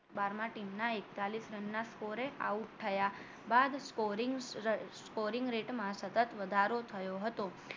બારમાં team ના એકતાલીશ રનના score out થયા બાદ scoring scoring rate માં સતત વધારો થયો હતો